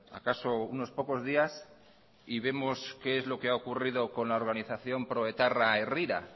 acaso unos pocos días y vemos qué es lo que ha ocurrido con la organización pro etarra herrira